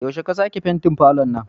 Yaushe ka sake fentin falon nan?